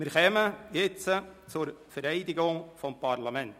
Wir kommen jetzt zur Vereidigung des Parlaments.